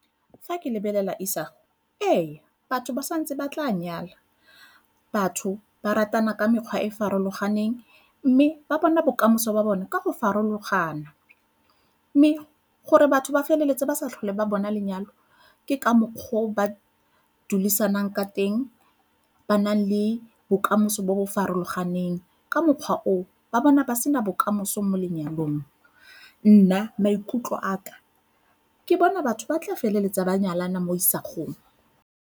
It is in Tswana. Fa ke lebelela isago, ee, batho ba sa ntse ba tla nyala batho ba ratana ka mekgwa e e farologaneng, mme ba bona bokamoso ba bona ka go farologana. Mme gore batho ba feleletse ba sa tlhole ba bona lenyalo ke ka mokgwa o ba dulisanang ka teng ba nang le bokamoso jo bo farologang, ka mokgwa o ba bona ba sena bokamoso mo lenyalong. Nna maikutlo a ka ke bona batho ba tla feleletsa ba nyalana mo isagong.